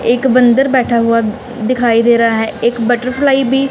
एक बंदर बैठा हुआ दिखाई दे रहा है एक बटरफ्लाई भी--